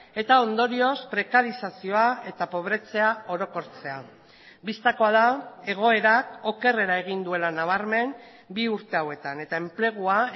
eta ondorioz prekarizazioa eta pobretzea orokortzea bistakoa da egoerak okerrera egin duela nabarmen bi urte hauetan eta enplegua